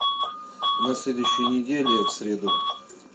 на следующей неделе в среду